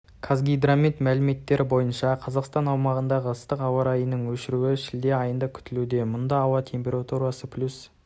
қазгидромет мәліметтері бойынша қазақстан аумағындағы ыстық ауа райының өршуі шілде айында күтілуде мұнда ауа температурасы плюс